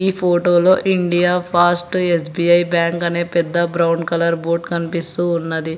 ఈ ఫోటో లో India fast SBI bank అనే పెద్ద బ్రౌన్ కలర్ బోర్డ్ కనిపిస్తూ ఉన్నది.